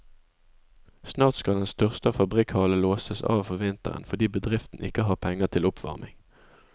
Snart skal den største av fabrikkhallene låses av for vinteren fordi bedriften ikke har penger til oppvarming.